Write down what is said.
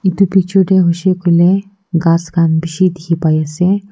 itu picture teh huishey kuile ghas khan bishi dikhi pai ase.